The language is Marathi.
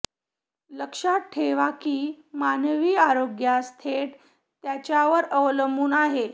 लक्षात ठेवा की मानवी आरोग्यास थेट त्याच्यावर अवलंबून आहे